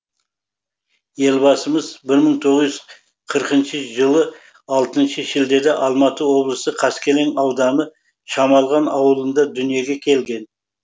елбасымыз бір мың тоғыз жүз қырқыншы жылы алтыншы шілдеде алматы облысы қаскелең ауданы шамалған ауылында дүниеге келген